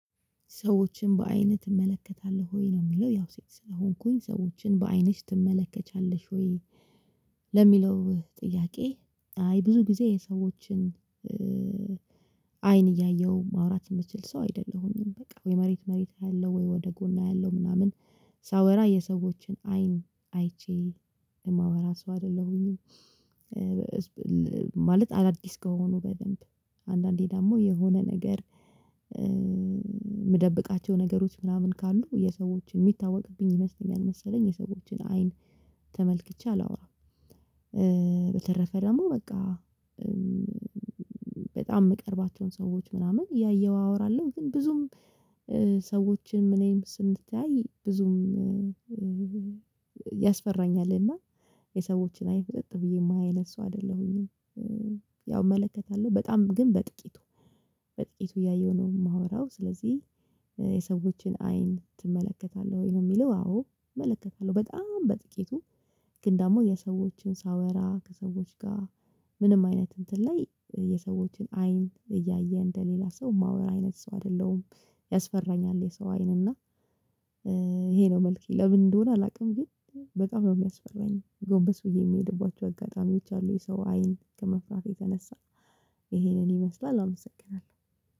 ሰዎችን በአይን ትመለከታለህ ወይ? ነው የምለው ያው ሴት ስለሆንኩኝ ሰዎችን በአይንሽ ትመለከቻለሽ ወይ ለሚለው ጥያቄ አይ ብዙ ጊዜ የሰዎችን አይን እያየሁ ማውራት የምችል ሰው አይደለሁኝም። በቃ ወይ መሬት መሬት አያለው ወይ ወደ ጎን አይለው ምናምን ሳወራ የሰዎችን አይን አይቼ የማወራ ሰው አይደለሁኝም። ማለት አዳዲስ ከሆኑ በደንብ አንዳንዴ ደግሞ የሆነ ነገር የምደብቃቸው ነገሮች ምናምን ካሉ የሰዎችን የሚታወቅብኝ ይመስለኛል መሰለኝ የሰዎችን አይን ተመልክቼ አላወራም። በተረፈ ደግሞ በቃ በጣም የምቀርባቸውን ሰዎች ምናምን ያየው አወራለሁ። ግን ብዙም ሰዎችን እኔም ስንተያይ ብዙም ያስፈራኛል። እና የሰዎችን አይን ፍጥጥ ብዬ የማይ አይነት ሰው አይደለሁኝም። ያው እመለከታለሁ በጣም ግን በጥቂቱ በጥቂቱ እያየሁ ነው የማወራው። ስለዚህ የሰዎችን አይን ትመለከታለህ ወይ? ነው የሚለው አዎ እመለከታለሁ። በጣም በጥቂቱ ግን ደግሞ የሰዎችን ሳወራ ከሰዎች ጋር ምንም አይነት እንትን ላይ የሰዎችን አይን እያየ እንደሌላ ሰው የማወራ አይነት ሰው አይደለሁም። ያስፈራኛል የሰው አይን እና ይሄ ነው መልኬ ለምን እንደሆነ አላውቅም ግን በጣም ነው የሚያስፈራኝ ጎንበስ ብዬ የምሄድባቸው አጋጣሚ ይቻላል የሰው አይን ከመፍራቴ ተነሳ ይሄንን ይመስላል አመሰግናለሁ።